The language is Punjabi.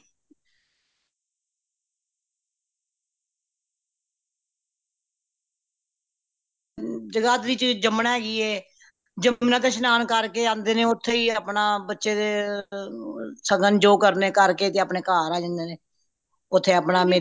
ਜਗਾਧਰੀ ਵਿੱਚ ਯਮੁਨਾ ਹੈਗੀ ਹੈ ਯਮੁਨਾ ਤੇ ਸ਼ਨਾਨ ਕਰਕੇ ਆਂਦੇ ਨੇ ਓਥੇ ਹੀ ਆਪਣਾ ਬੱਚੇ ਦੇ ਸਗਨ ਜੋ ਕਰਨੇ ਕਰਕੇ ਤੇ ਆਪਣੇ ਘਰ ਆ ਜਾਂਦੇ ਨੇ ਓਥੇ ਆਪਣਾ ਮੇਲਾ ਮੁਲਾ [